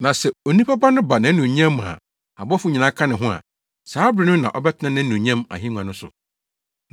“Na sɛ Onipa Ba no ba nʼanuonyam mu a abɔfo nyinaa ka ne ho a, saa bere no na ɔbɛtena nʼanuonyam ahengua no so.